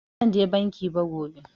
Ba zan je banki ba gobe